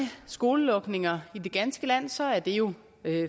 skolelukninger i det ganske land så er det jo